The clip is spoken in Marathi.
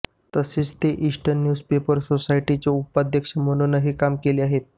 तसेच ते ईस्टर्न न्यूजपेपर सोसायटीचे उपाध्यक्ष म्हणूनही काम केले आहे